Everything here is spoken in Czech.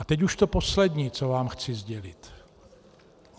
A teď už to poslední, co vám chci sdělit.